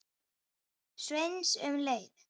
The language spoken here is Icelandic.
Sveins um leið.